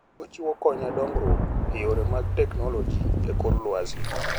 Ochiwo kony ne dongruok e yore mag teknoloji e kor lwasi.